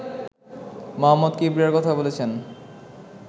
মোহাম্মদ কিবরিয়ার কথা বলেছেন